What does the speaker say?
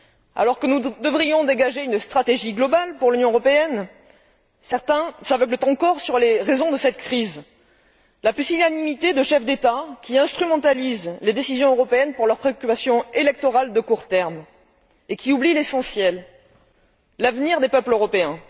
Alors que nous devrions dégager une stratégie globale pour l'Union européenne, certains s'aveuglent encore sur les raisons de cette crise la pusillanimité de chefs d'État qui instrumentalisent les décisions européennes pour leurs préoccupations électorales à court terme et qui oublient l'essentiel, l'avenir des peuples européens.